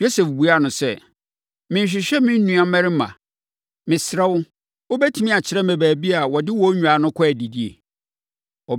Yosef buaa no sɛ, “Merehwehwɛ me nuammarima. Mesrɛ wo, wobɛtumi akyerɛ me baabi a wɔde wɔn nnwan no kɔ adidi?”